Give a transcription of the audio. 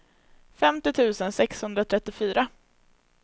femtio tusen sexhundratrettiofyra